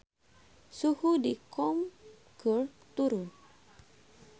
Suhu di Qom keur turun